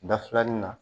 Da filanin na